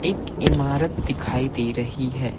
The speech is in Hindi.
एक इमारत दिखाई दे रही है।